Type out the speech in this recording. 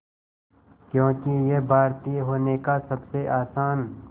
क्योंकि ये भारतीय होने का सबसे आसान